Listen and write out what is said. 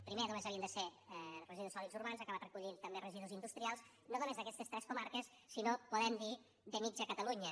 primer només havien de ser residus sòlids urbans ha acabat recollint residus també residus industrials no només d’aquestes tres comarques sinó podem dir de mitja catalunya